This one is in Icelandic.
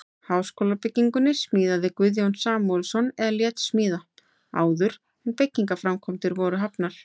Þetta líkan af háskólabyggingunni smíðaði Guðjón Samúelsson eða lét smíða, áður en byggingarframkvæmdir voru hafnar.